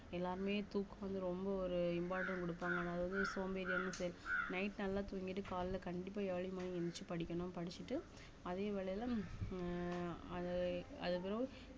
எல்லாமே தூக்கம் வந்து ரொம்ப ஒரு important கொடுப்பாங்க அதாவது வந்து சோம்பேறியா night நல்லா தூங்கிட்டு காலையில கண்டிப்பா early morning எந்திருச்சு படிக்கணும் படிச்சுட்டு அதே வேலையில உம் அத அதுக்கப்புறம்